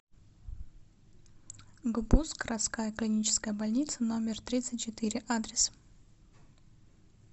гбуз городская клиническая больница номер тридцать четыре адрес